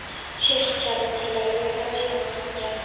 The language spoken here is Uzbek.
chex kabi tillarga tarjima qilingan.